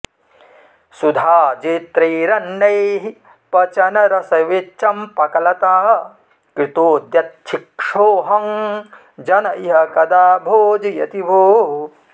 सुधाजैत्रैरन्नैः पचनरसविच्चम्पकलता कृतोद्यच्छिक्षोऽहं जन इह कदा भोजयति भोः